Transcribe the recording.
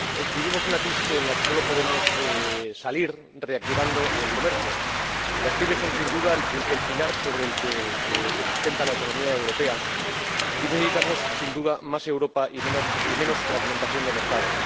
Vivimos una crisis de la que sólo podemos salir reactivando el comercio. Las PYME son, sin duda, el pilar sobre el que se sustenta la economía europea y necesitamos, sin duda, más Europa y menos fragmentación de mercado.